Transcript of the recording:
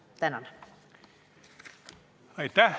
Aitäh!